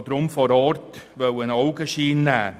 Deshalb wollte ich einen Augenschein nehmen.